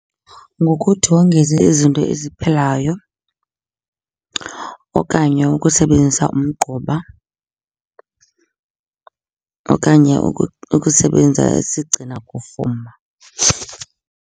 Ngokuthi wongeze izinto eziphilayo okanye ukusebenzisa umgquba okanye ukusebenza isigcina kufuma.